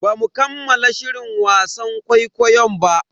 Bamu kammala shirin wasan ƙwaiƙwayon ba.